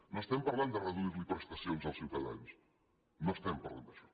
no estem parlant de reduir los prestacions als ciutadans no estem parlant d’això